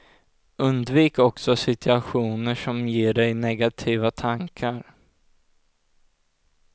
Undvik också situationer som ger dig negativa tankar.